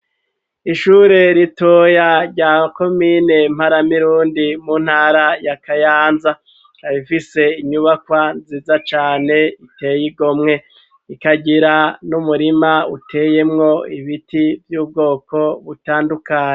Ishure ritoya rya komine mparamirundi mu ntara ya kayanza ibifise inyubakwa nziza cane riteye igomwe ikagira n'umurima uteyemwo ibiti vy'ubwoko butandukane.